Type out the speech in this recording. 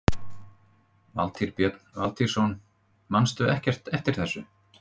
Valtýr Björn Valtýsson: Manstu ekkert eftir þessu?